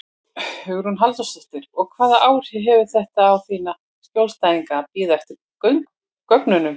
Hugrún Halldórsdóttir: Og hvaða áhrif hefur þetta á þína skjólstæðinga að bíða eftir gögnunum?